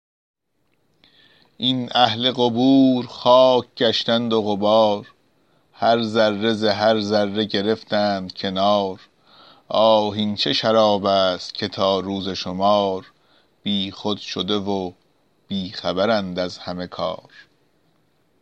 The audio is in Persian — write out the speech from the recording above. این اهل قبور خاک گشتند و غبار هر ذره ز هر ذره گرفتند کنار آه این چه شراب است که تا روز شمار بیخود شده و بی خبرند از همه کار